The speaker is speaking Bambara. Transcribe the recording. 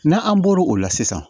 N'an bɔr'o la sisan